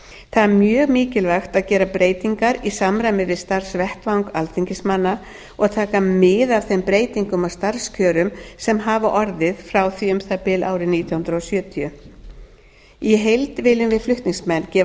það er mjög mikilvægt að gera breytingar í samræmi við starfsvettvang alþingismanna og taka mið af þeim breytingum á starfskjörum sem hafa orðið frá því um það bil árið nítján hundruð sjötíu í heild viljum við flutningsmenn gefa